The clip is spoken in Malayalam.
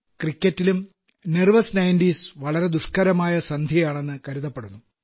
ക്രിക്കറ്റിലും നെർവസ് നയന്റീസ് വളരെ ദുഷ്ക്കരമായ സന്ധിയാണെന്നു കരുതപ്പെടുന്നു